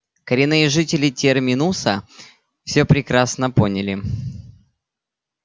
коренные жители терминуса всё прекрасно поняли